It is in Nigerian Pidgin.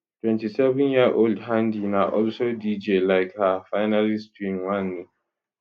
27yearold handi na also dj lik her finalist twin wanni